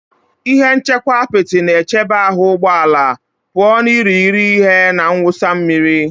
Ihe nchekwa apịtị na-echebe ahụ ụgbọ ala pụọ ​​na irighiri ihe na mwụsa mmiri